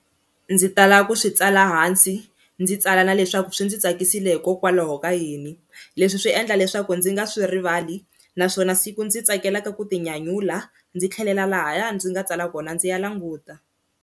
Ndzi tala ku swi tsala hansi ndzi tsala na leswaku swi ndzi tsakisile hikokwalaho ka yini leswi swi endla leswaku ndzi nga swi rivali, naswona siku ndzi tsakelaka ku tinyanyula ndzi tlhelela lahaya ndzi nga tsala kona ndzi ya languta.